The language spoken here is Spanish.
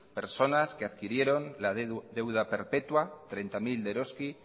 personas que adquirieron la deuda perpetua treinta mil de eroski